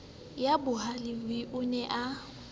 ya bohalev o ne a